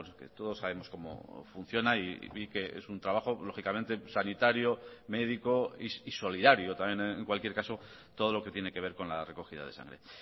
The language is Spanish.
que todos sabemos cómo funciona y que es un trabajo lógicamente sanitario médico y solidario también en cualquier caso todo lo que tiene que ver con la recogida de sangre